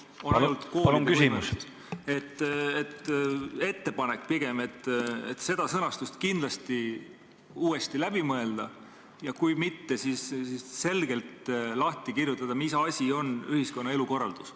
Mul on ettepanek see sõnastus kindlasti uuesti läbi mõelda ja kui seda ei muudeta, siis tuleks selgelt lahti kirjutada, mis asi on ühiskonna elukorraldus.